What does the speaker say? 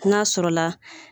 N'a sɔrɔla